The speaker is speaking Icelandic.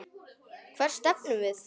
Hvert stefnum við?